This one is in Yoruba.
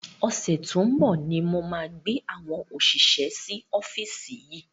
Ọ̀sẹ̀ tó ń bọ̀ ni mo máa gba àwọn òṣìṣẹ́ sí ọ́fíìsì yìí.